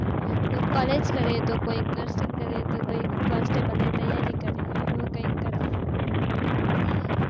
કોઈ કોલેજ કરે તો કોઈ nursing તો કોન્સ્ટેબલની તૈયારી કરે એવું કઈક કરે